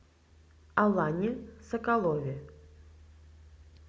алане соколове